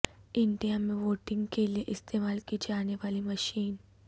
India میں voting کے لئے استعمال کی جانے والی مشین